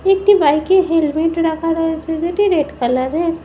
একটি বাইক এ হেলমেট রাখা রয়েছে যেটি রেড কালারের ।